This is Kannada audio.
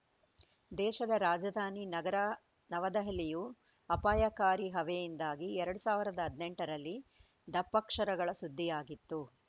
ದೇಶದ ರಾಜಧಾನಿ ನಗರ ನವದೆಹಲಿಯು ಅಪಾಯಕಾರಿ ಹವೆಯಿಂದಾಗಿ ಎರಡ್ ಸಾವಿರದ ಹದಿನೆಂಟರಲ್ಲಿ ದಪ್ಪಕ್ಷರಗಳ ಸುದ್ದಿಯಾಗಿತ್ತು